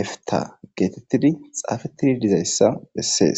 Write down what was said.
efita geetettidi xaafettidi dizayssa bessees